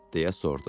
deyə soruşdu.